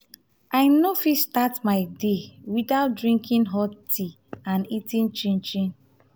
i no fit start my day without drinking hot tea and eating